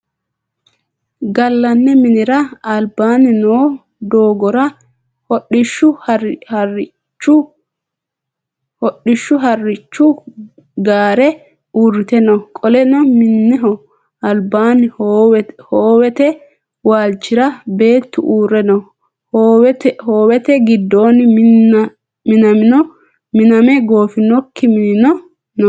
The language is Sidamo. Galanni minnira albaanni noo doogora hodhishu harichu gaare uurite no. Qoleno minneho albaanni hoowete waalchira beetu uure no. Hoowete gidoonni minname goofinoki minni no.